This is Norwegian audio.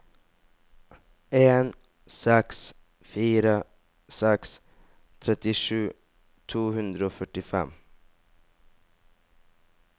en seks fire seks trettisju to hundre og førtifem